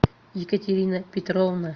екатерина петровна